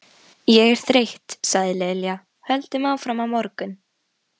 Ég er þreytt sagði Lilla, höldum áfram á morgun